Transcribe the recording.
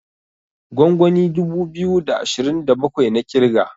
gwangwani dubu biyu da ashirin da bakwai na kirga